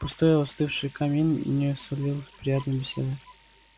пустой остывший камин не сулил приятной беседы